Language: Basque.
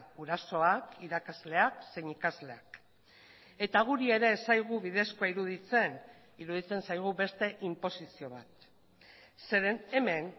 gurasoak irakasleak zein ikasleak eta guri ere ez zaigu bidezkoa iruditzen iruditzen zaigu beste inposizio bat zeren hemen